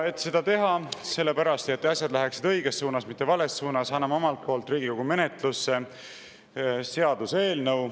Et seda teha ja selleks, et asjad läheksid õiges suunas, mitte vales suunas, anname omalt poolt Riigikogu menetlusse seaduseelnõu.